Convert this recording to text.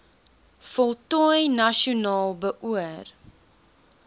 voltooi nasionaal beoor